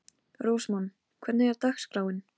Rósmann, hvernig er dagskráin?